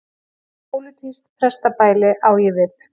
Pólitískt pestarbæli á ég við.